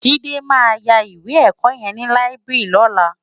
Jide má yá iwé èkò yèn ni láibiri lòlá